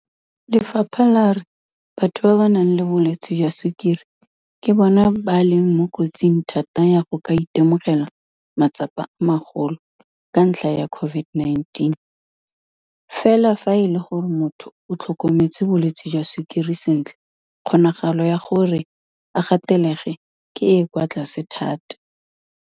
Lefapha la re batho ba ba nang le bolwetse jwa sukiri ke bona ba leng mo kotsing thata ya go ka itemogela matsapa a magolo ka ntlha ya COVID-19, fela fa e le gore motho o tlhokometse bolwetse jwa sukiri sentle kgonagalo ya gore a gatelege ke e e kwa tlase thata.